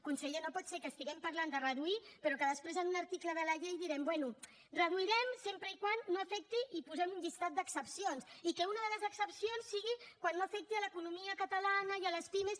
conseller no pot ser que estiguem parlant de reduir però que després en un article de la llei diguem bé reduirem sempre que no afecti i hi posem un llistat d’excepcions i que una de les excepcions sigui quan no afecti l’economia catalana i les pimes